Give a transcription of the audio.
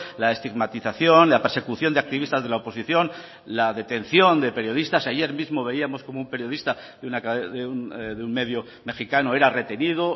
la estigmatización la persecución de activistas de la oposición la detención de periodistas ayer mismo veíamos como un periodista de un medio mejicano era retenido